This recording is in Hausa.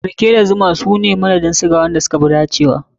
Rake da zuma su ne madadin suga wanda suka fi dacewa.